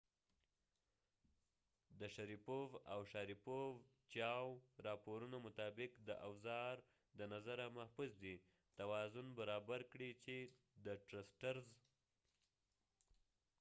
چېاو chiaoاو شاریپوف sharipov د راپورونو مطابق د اوزا ر د نظره محفوظ دي . چې د ټرسټرزtrusters توازن برابر کړي